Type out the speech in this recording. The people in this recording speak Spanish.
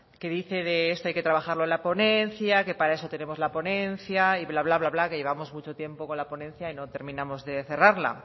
que dice que esto hay que trabajarlo en la ponencia que para eso tenemos la ponencia y bla bla que llevamos mucho tiempo con la ponencia y no terminamos de cerrarla